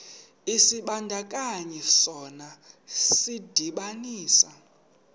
isibandakanyi sona sidibanisa